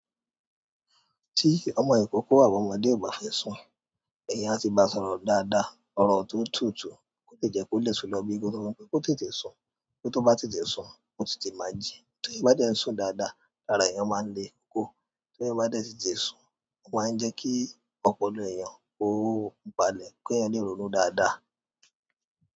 Tí ọmọ ìkókó àwọn ọmọdé ò bá fẹ́ sùn, èèyàn bá ti bá sọ̀rọ̀ dáadáa, ọ̀rọ̀ tó tútù, ó lè jẹ́ kó lè lọ bí i kó tó mọ̀ pé ó tètè sun. Kí ó tó bá tètè sun, ó tètè máa jí. Tí èèyàn bá dẹ̀ ń sùn dáadáa, lára èèyàn máa ń le koko. Tí èèyàn bá dẹ̀ tètè sun, ó máa ń jẹ́ kí ọpọlọ eeyàn kó balẹ̀ kí èèyàn le rònú dáadáa.